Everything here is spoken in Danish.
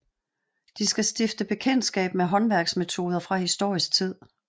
De skal stifte bekendtskab med håndværksmetoder fra historisk tid